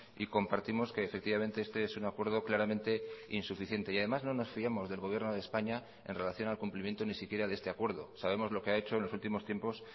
y compartimos que efectivamente este es un acuerdo claramente insuficiente y además no nos fiamos del gobierno de españa en relación al cumplimiento ni siquiera de este acuerdo sabemos lo que ha hecho en los últimos tiempos